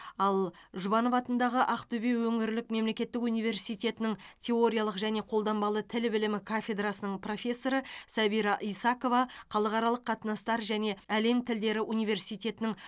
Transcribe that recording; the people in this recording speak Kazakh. ал жұбанов атындағы ақтөбе өңірлік мемлекеттік университетінің теориялық және қолданбалы тіл білімі кафедрасының профессоры сәбира исакова халықаралық қатынастар және әлем тілдері университетінің